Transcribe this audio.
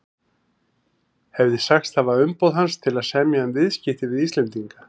hefði sagst hafa umboð hans til að semja um viðskipti við Íslendinga.